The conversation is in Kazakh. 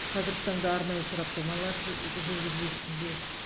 қазіргі таңда арнайы сараптамалар жүргізілу үстінде